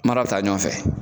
Mara bi ta ɲɔn fɛ